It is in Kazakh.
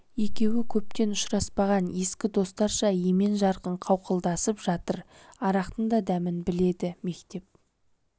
екеуі көптен ұшыраспаған ескі достарша емен-жарқын қауқылдасып жатыр арақтың да дәмін біледі мектеп